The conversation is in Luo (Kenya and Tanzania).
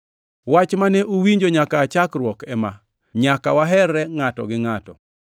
Wach mane uwinjo nyaka aa chakruok ema: Nyaka waherreuru ngʼato gi ngʼato.